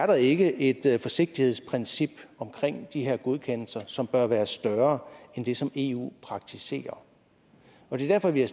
der ikke ikke er et forsigtighedsprincip omkring de her godkendelser som bør være større end det som eu praktiserer det er derfor vi har